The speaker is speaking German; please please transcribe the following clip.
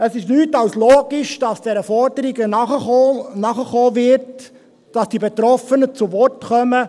Es ist nichts als logisch, dass diesen Forderungen nachgekommen wird, dass die Betroffenen zu Wort kommen.